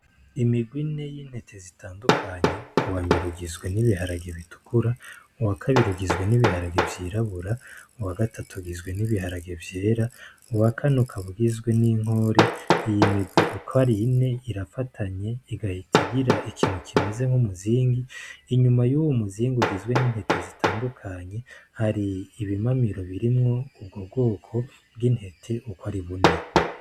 Imigwe ine y'intete zitandukanye uwa mbere ugizwe n'ibiharage bitukura uwa kabirugizwe n'ibiharage vyirabura uwa gatatogizwe n'ibiharage vyera uwa kanukabugizwe n'inkore iyi migwi ukar yine irafatanye igahitigira ikintu kimeze nk'umuzingi inyuma y'uwu muzingi ugizwe nintete zitandukanye hari ibimamiro birimwo ubwo bwoko bw'intete uko ari bune.